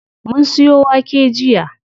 Mun siyo wake jiya.